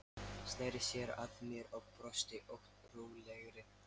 Sneri sér að mér og brosti, ögn rólegri.